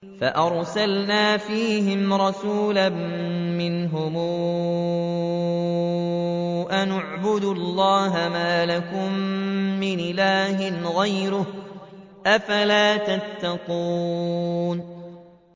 فَأَرْسَلْنَا فِيهِمْ رَسُولًا مِّنْهُمْ أَنِ اعْبُدُوا اللَّهَ مَا لَكُم مِّنْ إِلَٰهٍ غَيْرُهُ ۖ أَفَلَا تَتَّقُونَ